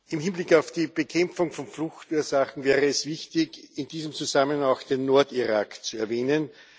Im Hinblick auf die Bekämpfung von Fluchtursachen wäre es wichtig, in diesem Zusammenhang auch den Nordirak zu erwähnen.